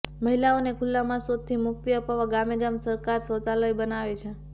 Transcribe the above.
મહિલાઓને ખુલ્લામાં શૌચથી મુક્તિ અપાવવા ગામે ગામ સરકાર શૌચાલય બનાવે છે